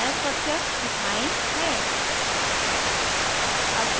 नया structure ethyne ethyne है